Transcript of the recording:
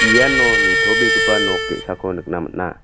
iano nitobegipa nok ge·sako nikna man·a.